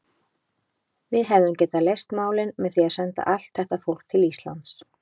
Við hefðum getað leyst málin með því að senda allt þetta fólk til Íslands.